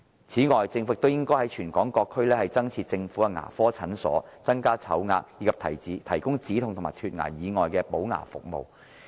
此外，政府亦應在全港各區增設政府的牙科診所，增加籌額，以及提供止痛和脫牙以外的補牙服務。